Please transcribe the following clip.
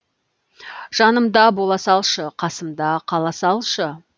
жанымда бола салшы қасымда қала салшы